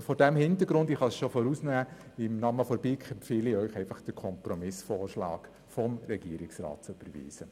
Vor diesem Hintergrund empfehle ich Ihnen im Namen der BiK, den Kompromissvorschlag des Regierungsrats zu überweisen.